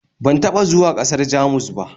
Ban taɓa zuwa ƙasar Jamus ba